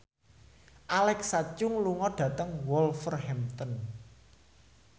Alexa Chung lunga dhateng Wolverhampton